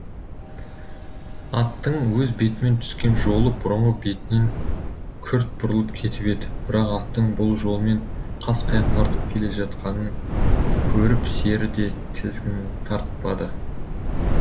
аттың өз бетімен түскен жолы бұрынғы бетінен күрт бұрылып кетіп еді бірақ аттың бұл жолмен қасқая тартып келе жатқанын көріп сері де тізгінін тартпады